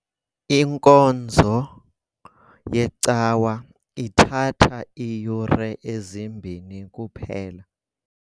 Inkonzo yecawa ithatha iiyure ezimbini kuphela.